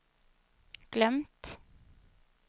glömt